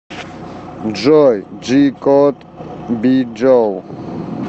джой джи код биджоу